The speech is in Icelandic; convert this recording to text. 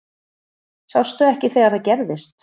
Sástu ekki þegar það gerðist?